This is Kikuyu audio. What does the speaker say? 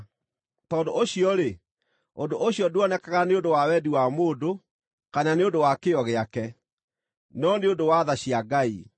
Tondũ ũcio-rĩ, ũndũ ũcio nduonekaga nĩ ũndũ wa wendi wa mũndũ, kana nĩ ũndũ wa kĩyo gĩake, no nĩ ũndũ wa tha cia Ngai.